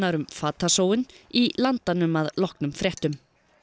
um fatasóun í Landanum að loknum fréttum